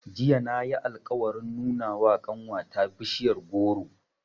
Jiya na yi alƙawarin nuna wa ƙanwata bishiyar goro.